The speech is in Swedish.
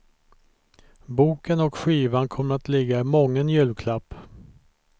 Boken och skivan kommer att ligga i mången julklapp.